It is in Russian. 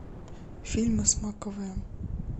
фильмы с макэвоем